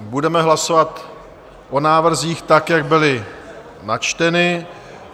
Budeme hlasovat o návrzích tak, jak byly načteny.